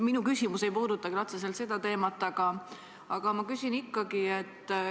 Minu küsimus ei puuduta küll otseselt seda teemat, aga ma küsin ikkagi.